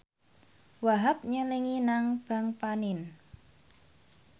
Wahhab nyelengi nang bank panin